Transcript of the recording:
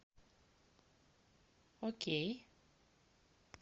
окей